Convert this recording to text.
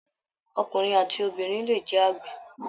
Ọkùnrin àti obìnrin le jẹ àgbẹ̀